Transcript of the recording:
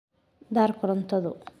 Daar korontadu